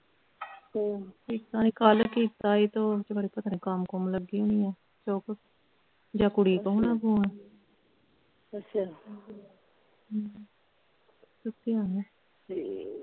ਹਮ ਕੀਤਾ ਨਹੀਂ ਕੱਲ ਕੀਤਾ ਸੀ ਤੇ ਓਹ ਖਰੇ ਕੰਮ ਕੁੱਮ ਲੱਗੀ ਹੋਣੀ ਆ ਚੁੱਕ ਜਾਣ ਕੁੜੀ ਕੋਲ ਹੋਣਾਂ ਫ਼ੋਨ ਅੱਛਾ ਹਮ ਚੁੱਕਿਆ ਨਹੀਂ ਠੀਕ ਆ